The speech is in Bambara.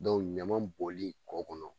ɲama bɔli kɔ kɔnɔ